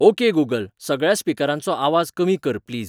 okay Google सगळ्या स्पिकरांचो आवाज कमी कर प्लीज